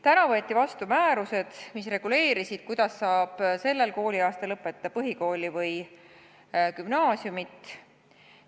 Täna võeti vastu määrused, mis reguleerivad, kuidas saab sellel kooliaastal lõpetada põhikooli või gümnaasiumit.